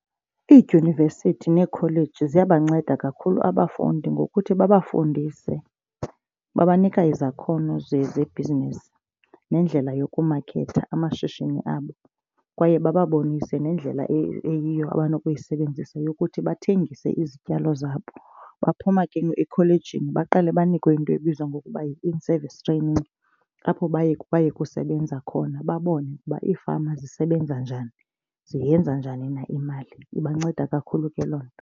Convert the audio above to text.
Iidyunivesithi neekholeji ziyabanceda kakhulu abafundi ngokuthi babafundise, babanike izakhono zebhizinisi nendlela yokumaketha amashishini abo. Kwaye bababonise nendlela eyiyo abanokuyisebenzisa yokuthi bathengise izityalo zabo. Baphuma ke ekholejini baqale banikwe into ebizwa ngokuba yi-in service training apho baye baye kusebenza khona babone ukuba iifama zisebenza njani ziyenza njani na imali. Ibanceda kakhulu ke loo nto.